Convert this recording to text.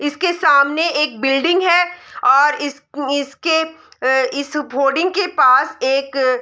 इसके सामने एक बिल्डिंग है और इस इसके इस होर्डिंग के पास एक --